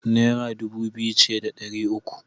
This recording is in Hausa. Naira dubu biyu ce da ɗari uku.